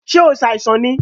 Ṣe o ṣàìsàn ni?